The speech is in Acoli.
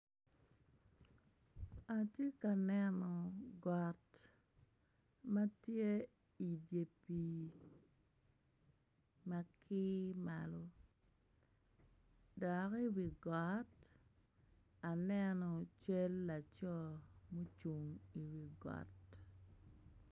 Atye ka neno got ma tye idye pii ma kir malo dok iwi got, aneno cal laco ma ocung iwi got.